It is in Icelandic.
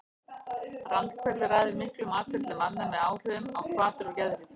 Randkerfið ræður miklu um atferli manna með áhrifum á hvatir og geðhrif.